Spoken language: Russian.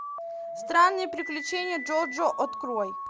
странные приключения джоджо открой